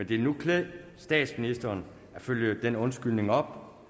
ville nu klæde statsministeren at følge den undskyldning op